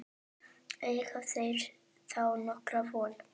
Eiga þeir þá nokkra von.